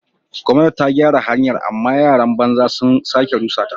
Gwamnati ta gyara hanyar amma yaran banza sun sake rusa ta.